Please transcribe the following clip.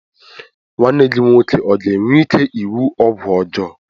Nwanne gị nwoke ọ ga-enwe ike iwu ọgwụ ọjọọ?